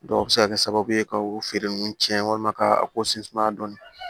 a bɛ se ka kɛ sababu ye ka o feere ninnu tiɲɛ walima ka ko sin sumaya dɔɔnin